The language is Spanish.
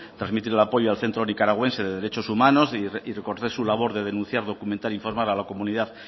trasmitir el apoyo al centro nicaragüense de derechos humanos y recordar su labor de denunciar documentar informar a la comunidad